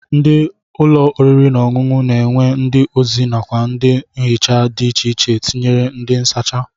Ndị ụlọ oriri na ọṅụṅụ na-enwe ndị ozi nakwa ndị nhicha dị icheiche tinyere ndị nsacha